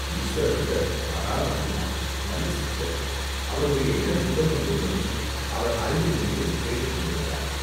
"ஈசுவர பட்டர் மகா பக்திமான், நல்ல சிஷ்டர்." "அவருடைய இளம் புதல்வன் ஒருவனும் அவர் அருகில் நின்று கேட்டுக் கொண்டிருந்தான்.